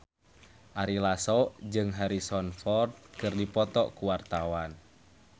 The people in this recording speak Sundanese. Ari Lasso jeung Harrison Ford keur dipoto ku wartawan